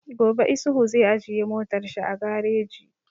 Gobe Isuhu zai ajiye motar shi a gareji